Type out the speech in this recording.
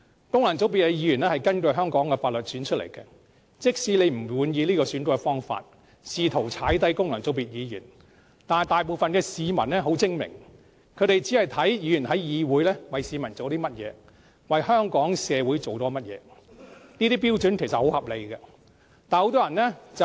功能界別的議員是根據香港法律選出來的，縱使你不滿意這個選舉方法，試圖踩低功能界別議員，但大部分市民都很精明，他們只着眼於議員在議會為大家做了甚麼，為香港社會做了甚麼，其實這些標準是很合理的。